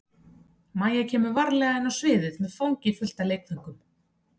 Mæja kemur varlega inn á sviðið með fangið fullt af leikföngum.